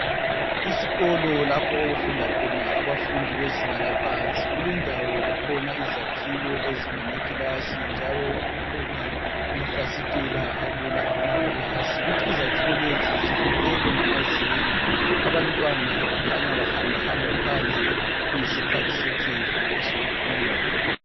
Isikolo lapho okufunda khona abafundi bezinga laphansi kulendawo kukhona izakhiwo ezinganakilasi njalo kukhona amafasitela akula amakilasi kuthi izakhiwo lezi zifulelwe ngamazenge abantwana bakhanya behambahamba phandle kuyisikhathi sekhefu sokuphumula.